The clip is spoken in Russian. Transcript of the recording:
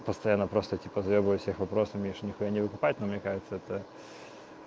постоянно просто эти подъёбывать всех вопросами они же ни хуя не выкупают но мне кажется это